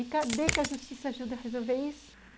E cadê que a justiça ajuda a resolver isso?